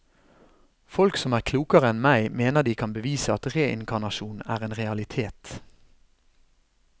Folk som er klokere enn meg, mener de kan bevise at reinkarnasjon er en realitet.